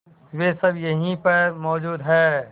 वे सब यहीं पर मौजूद है